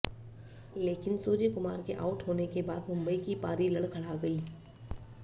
लेकिन सूर्यकुमार के आउट होने के बाद मुंबई की पारी लड़खड़ा गई